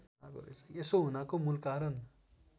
यसो हुनाको मूलकारण